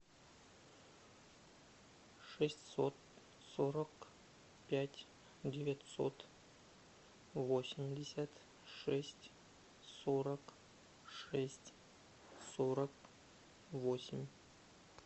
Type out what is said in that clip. шестьсот сорок пять девятьсот восемьдесят шесть сорок шесть сорок восемь